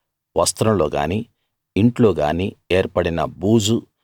వస్త్రంలో గానీ ఇంట్లోగానీ ఏర్పడిన బూజూ